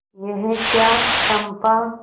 यह क्या चंपा